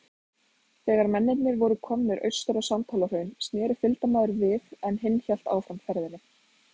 Þegar mennirnir voru komnir austur á Sandhólahraun, sneri fylgdarmaðurinn við, en hinn hélt áfram ferðinni.